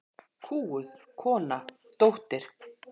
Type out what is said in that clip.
Kúguð kona, dóttir.